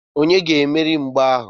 Onye ga-emeri mgba ahu?